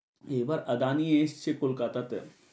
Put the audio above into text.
এবার আদানি এসছে কলকাতাতে।